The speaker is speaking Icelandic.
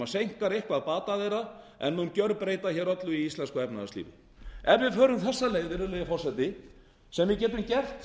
sem seinkar eitthvað bata þeirra en mun gerbreyta öllu í íslensku efnahagslífi ef við förum þessa leið virðulegi forseti sem við getum gert